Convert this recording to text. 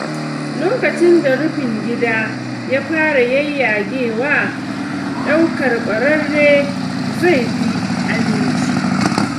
Lokacin da rufin gida ya fara yayyagewa, ɗaukar kwararre zai fi aminci.